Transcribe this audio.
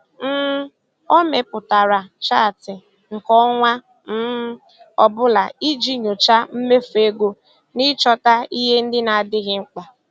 um O mepụtara chaatị nke ọnwa um ọ bụla iji nyochaa mmefu ego na ịchọta ihe ndị na-adịghị mkpa.